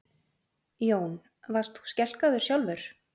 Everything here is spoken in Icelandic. Jón: Varst þú skelkaður sjálfur?